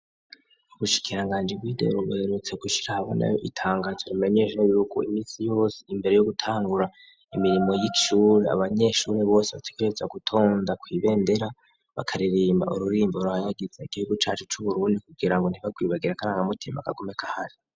Ubushikiranganji bwindero buherutse gushira ahabona itangazo rimenyesha yuko iminsi yose, imbere yogutangura imirimo yishure abanyeshure bose bategerezwa gutonda kwibendera, bakaririmba ururirimbo ruhayagiza igihugu cacu c'uburundi kugirango ntibagwibagira akarangamutima kagume kahari.